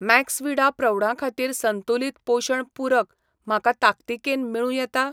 Maxvida प्रौढां खातीर संतुलित पोशण पूरक म्हाका ताकतिकेन मेळूं येता?